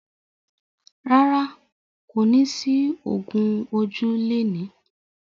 Rárá, kò ní sí ògún ojú lẹni.